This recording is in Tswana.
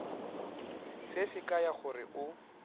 se se kaya gore o